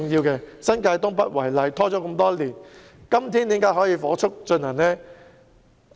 以新界東北為例，問題已經拖延很多年，時至今天才可以火速推行。